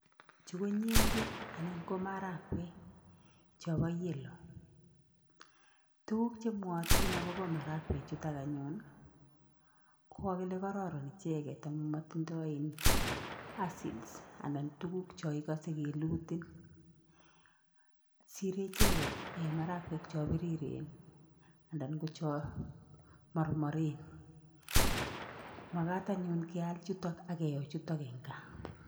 Chu ko nyendek anan ko marakwek chopa yellow tukuk chemwayatin akopa marakwek chutok anyun ko kagile kararan icheket amun matindoy acids anan tuguk cho ikose koilutin sire icheket marakwek cho piriren anan cho marmaren makat anyun keal chutok akeyo chutok eng' gaa.